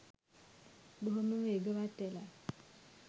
බොහොම වේගවත් වෙලා